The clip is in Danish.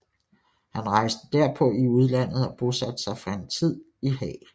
Han rejste derpå i udlandet og bosatte sig en tid lang i Haag